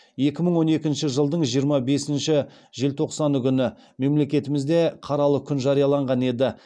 екі мың он екінші жылдың жиырма бесінші желтоқсаны күні мемлекетімізде қаралы күн жарияланған еді